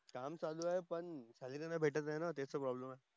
काम चालू आहे पण सेलेरी नाही भेटत हे ना ते त प्रोब्लेम आहे